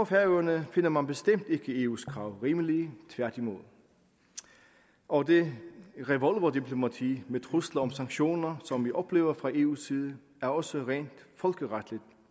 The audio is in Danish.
færøerne finder man bestemt ikke eu’s krav rimelige tværtimod og det revolverdiplomati med trusler om sanktioner som vi oplever fra eu’s side er også rent folkeretligt